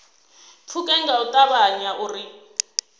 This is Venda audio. pfuke nga u ṱavhanya uri